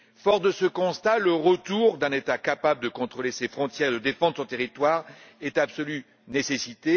Fort de ce constat, j'estime que le retour d'un État capable de contrôler ses frontières, de défendre son territoire est une absolue nécessité.